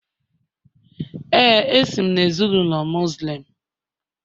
Ee, esi m na ezinụlọ Muslim